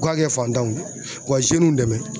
U ka kɛ fantanw u ka dɛmɛ